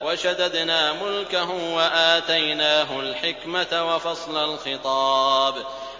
وَشَدَدْنَا مُلْكَهُ وَآتَيْنَاهُ الْحِكْمَةَ وَفَصْلَ الْخِطَابِ